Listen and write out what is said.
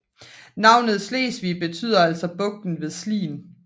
Navnet Slesvig betyder altså Bugten ved Slien